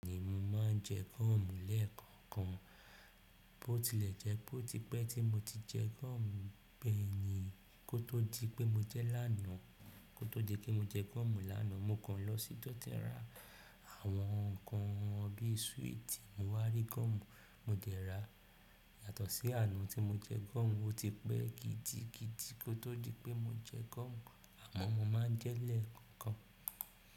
Bẹ́ẹ̀ ni, mo máa ń jẹ gúọ̀mù lẹ́ẹ̀kọ̀kan, bó ti lè jẹ́ bó ti pẹ́ tí mo ti jẹ gúọ̀mù bẹ́ẹ̀ ni kó tó di pé mo jẹ lánàá. Kó tó di pé mo jẹ gúọ̀mù lánàá, mo kan lọ sí Dọ́tẹ̀rá àwọn nǹkan bíi súwìtì, mo wá rí gúọ̀mù, mo dẹ̀ rà á. Yàtọ̀ sí àná tí mo jẹ gúọ̀mù ó ti pẹ́ gidigidi kó tó di pé mo jẹ gúọ̀mù, àmọ́ mo máa ń jẹ ẹ́ lẹ́ẹ̀kọ̀ọ̀kan.